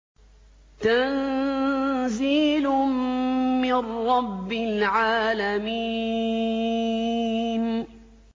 تَنزِيلٌ مِّن رَّبِّ الْعَالَمِينَ